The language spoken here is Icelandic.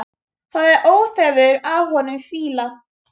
Það er óþefur af honum fýla!